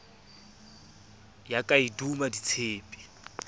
ya ka e duma ditshepe